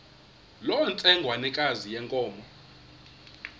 loo ntsengwanekazi yenkomo